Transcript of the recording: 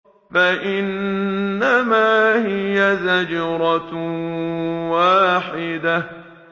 فَإِنَّمَا هِيَ زَجْرَةٌ وَاحِدَةٌ